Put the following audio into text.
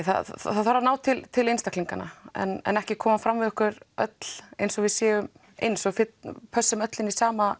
það þarf að ná til til einstaklinganna en en ekki koma fram við okkur öll eins og við séum eins og pössum öll inn í sama